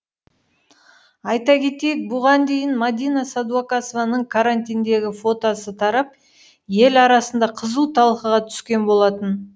айта кетейік бұған дейін мадина сәдуақасованың карантиндегі фотосы тарап ел арасында қызу талқыға түскен болатын